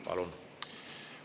Palun!